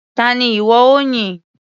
Ta ni ìwọ ó yìn?